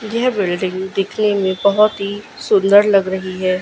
यह बिल्डिंग दिखने में बहुत ही सुंदर लग रही है।